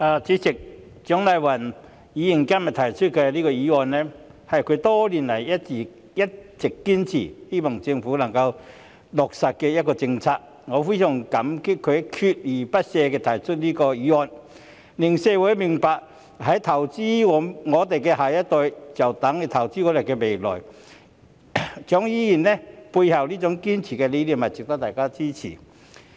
主席，蔣麗芸議員今天提出的議案，是她多年來一直堅持希望政府能夠落實的政策，我非常感激她鍥而不捨地提出這項議案，令社會明白投資我們的下一代便等於投資我們的未來，蔣議員背後堅持的理念值得大家支持。